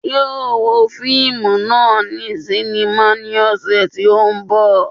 Yóò wo fíìmù náà ní sínímà ní ọ̀sẹ̀ tí ó ń bọ̀